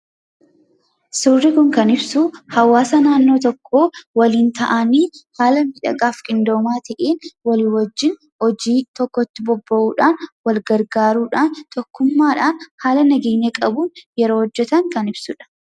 Suurri kun kan ibsu hawaasa naannoo tokkoo waliin taa'anii haala miidhagaa fi qindoomaa ta'een walii wajjin hojii tokkotti bobba'uudhaan, wal gargaaruudhaan, tokkummaadhaan haala nageenya qabuun yeroo hojjetan kan ibsuudha.